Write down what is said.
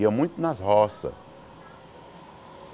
Ia muito nas roça.